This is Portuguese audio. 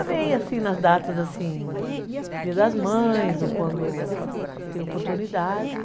Ela vem, assim, nas datas, assim, dia das mães ou quando tem oportunidade.